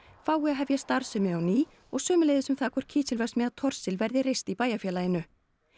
fái að hefja starfsemi á ný og sömuleiðis um það hvort kísilverksmiðja Thorsil verði reist í bæjarfélaginu